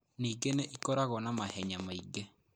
Ningĩ nĩ ĩkoragwo na mahenya maingĩ.